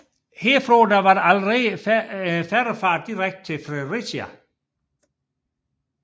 Herfra var der allerede færgefart direkte til Fredericia